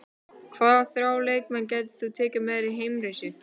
Hvaða þrjá leikmenn tækir þú með þér í heimsreisu?